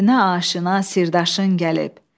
Dərdinə aşina sirdaşın gəlib.